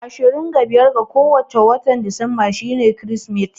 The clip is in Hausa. Ashirin da biyar ga kowace watan disemba shi ne biƙin kirismat